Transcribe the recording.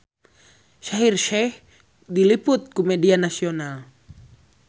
Shaheer Sheikh diliput ku media nasional